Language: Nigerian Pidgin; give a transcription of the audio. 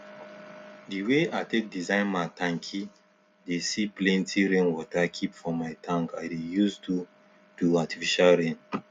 the way i take design my tanki dey see plenty rainwater keep for my tank i dey use do do artificial rain